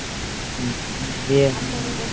গিয়ে হাত ধরে